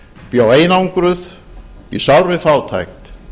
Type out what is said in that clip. bjó einangruð í sárri fátækt